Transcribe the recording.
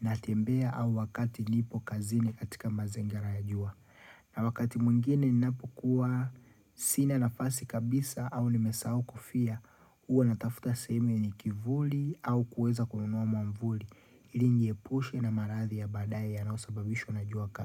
natembea au wakati nipo kazini katika mazingira ya jua. Na wakati mwingine ninapokuwa sina nafasi kabisa au nimesahau kufia huwa natafuta sehemu yenye kivuli au kuweza kununua mwavuli ili nijiepushe na maradhi ya badae yanaosababishwa na jua kali.